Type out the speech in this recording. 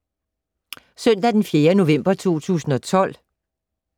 Søndag d. 4. november 2012